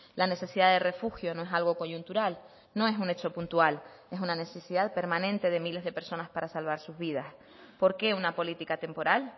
la necesidad de refugio no es algo coyuntural no es un hecho puntual es una necesidad permanente de miles de personas para salvar sus vidas por qué una política temporal